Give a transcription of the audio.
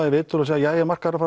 í viðtöl og segir jæja markaðurinn